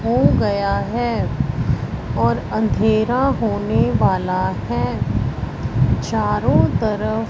हो गया है और अंधेरा होने वाला है चारों तरफ--